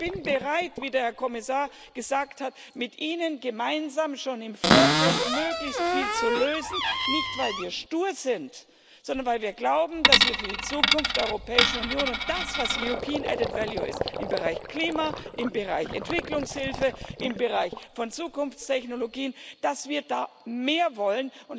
Ich bin bereit, wie der Herr Kommissar gesagt hat, mit Ihnen gemeinsam schon im Vorfeld möglichst viel zu lösen, nicht weil wir stur sind, sondern weil wir glauben, dass wir für die Zukunft der Europäischen Union und das, was European Added Value ist, im Bereich Klima, im Bereich Entwicklungshilfe, im Bereich von Zukunftstechnologien, dass wir da mehr wollen